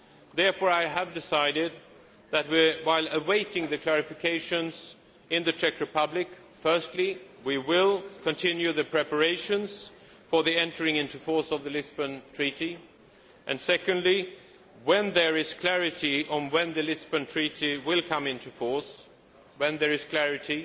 Therefore, I have decided that while awaiting the clarifications in the Czech Republic, firstly we will continue the preparations for the entry into force of the Lisbon Treaty and secondly, when there is clarity on when the Lisbon Treaty will come into force, when there is clarity,